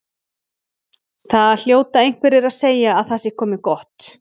Það hljóta einhverjir að segja að það sé komið gott.